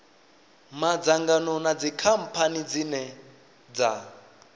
madzangano na dzikhamphani dzine dza